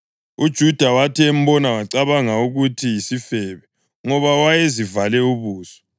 UJuda wathi embona wacabanga ukuthi yisifebe, ngoba wayezivale ubuso.